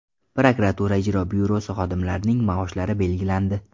Prokuratura ijro byurosi xodimlarining maoshlari belgilandi.